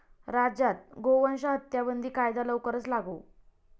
राज्यात गोवंश हत्याबंदी कायदा लवकरच लागू?